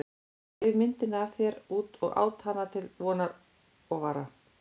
Ég reif myndina af þér út og át hana til vonar og vara.